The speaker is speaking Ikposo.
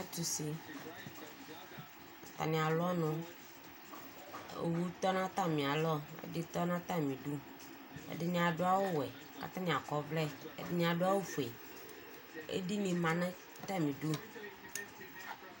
Atani alʋ ɔnʋ owʋtɔ nʋ atami alɔ ɛditɔ nʋ atami idʋ ɛdini adʋ awʋwɛ kʋ atani akɔ ɔvlɛ ɛdini adʋ awʋfue edini manʋ atami idʋ